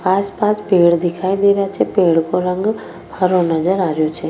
आस पास पेड़ दिखाई दे रा छे पेड़ को रंग हरो नजर आ रो छ।